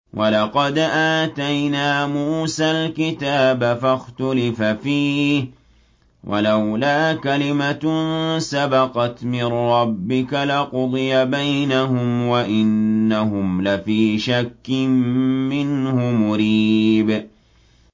وَلَقَدْ آتَيْنَا مُوسَى الْكِتَابَ فَاخْتُلِفَ فِيهِ ۗ وَلَوْلَا كَلِمَةٌ سَبَقَتْ مِن رَّبِّكَ لَقُضِيَ بَيْنَهُمْ ۚ وَإِنَّهُمْ لَفِي شَكٍّ مِّنْهُ مُرِيبٍ